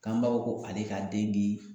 K'an b'a fɔ ko ale ka den bi